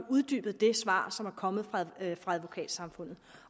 uddybet det svar som er kommet fra advokatsamfundet